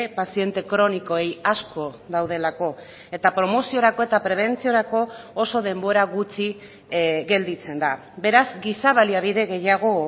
paziente kronikoei asko daudelako eta promoziorako eta prebentziorako oso denbora gutxi gelditzen da beraz giza baliabide gehiago